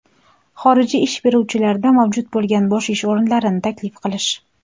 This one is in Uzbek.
xorijiy ish beruvchilarda mavjud bo‘lgan bo‘sh ish o‘rinlarini taklif qilish;.